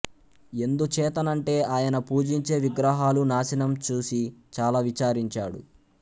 ఎందుచేతనంటే ఆయన పూజించే విగ్రహాలు నాశనం చూసి చాలా విచారించాడు